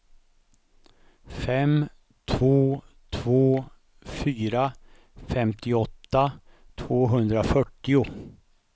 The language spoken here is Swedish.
fem två två fyra femtioåtta tvåhundrafyrtio